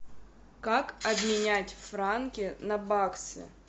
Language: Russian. как обменять франки на баксы